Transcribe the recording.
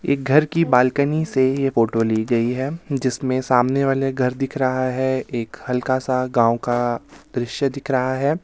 एक घर की बालकनी से ये फोटो ली गई है जिसमें सामने वाले घर दिख रहा है एक हल्का सा गांव का दृश्य दिख रहा है.